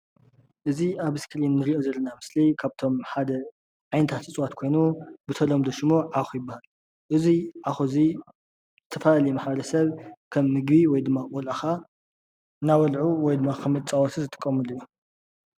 እዚ ኣብ እስክሪን እንሪኦ ዘለና ምስሊ ካብቶም ሓደ ዓይነታት እፅዋት ኮይኑ ብተለምዶ ሽሙ ዓዂ ይብሃል። እዚ ዓዂ እዚ ዝተፈላለየ ማሕበረሰብ ከም ምግቢ ወይ ድማ ቆልዑ ክዓ እናበልዑ ወይ ድማ ከም መፃወቲ ዝጥቀምሉ እዩ።